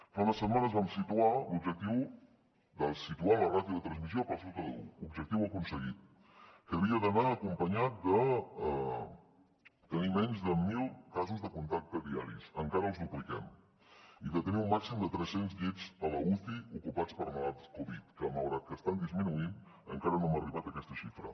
fa unes setmanes vam situar l’objectiu de situar la ràtio de transmissió per sota d’un objectiu aconseguit que havia d’anar acompanyat de tenir menys de mil casos de contacte diaris encara els dupliquem i de tenir un màxim de tres cents llits a l’uci ocupats per malalts covid que malgrat que estan disminuint encara no hem arribat a aquesta xifra